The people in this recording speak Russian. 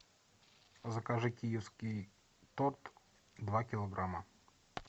закажи киевский торт два килограмма